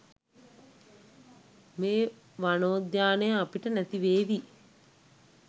මේ වනෝද්‍යානය අපට නැතිවේවි.